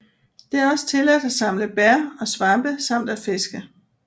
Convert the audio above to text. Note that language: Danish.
Det er også tilladt at samle bær og svampe samt at fiske